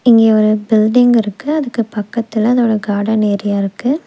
இங்க ஒரு பில்டிங் இருக்கு அதுக்கு பக்கத்துல அதோட கார்டன் ஏரியா இருக்கு.